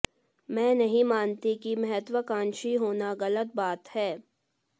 मैं नहीं मानती कि महत्वाकांक्षी होना गलत बात है